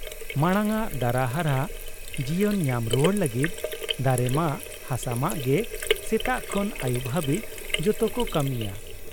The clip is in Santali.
ᱢᱟᱬᱟᱝᱟᱜ ᱫᱟᱨᱟ ᱦᱟᱨᱦᱟ ᱡᱤᱭᱚᱱ ᱧᱟᱢ ᱨᱩᱣᱟᱹᱲ ᱞᱟᱹᱜᱤᱫ ᱫᱟᱨᱮᱢᱟᱜ, ᱦᱟᱥᱟᱢᱟᱜ ᱜᱮ ᱥᱮᱛᱟᱜ ᱠᱷᱚᱱ ᱟᱹᱭᱩᱵ ᱦᱟᱵᱤᱡ ᱡᱚᱛᱚ ᱠᱚ ᱠᱟᱹᱢᱤᱭᱟ ᱾